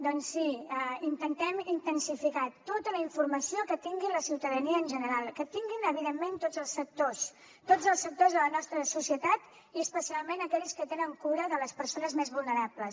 doncs sí intentem intensificar tota la informació que tingui la ciutadania en general que la tinguin evidentment tots els sectors tots els sectors de la nostra societat i especialment aquells que tenen cura de les persones més vulnerables